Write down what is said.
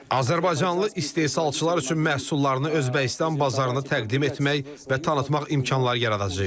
azərbaycanlı istehsalçılar üçün məhsullarını Özbəkistan bazarına təqdim etmək və tanıtmaq imkanları yaradacağıq.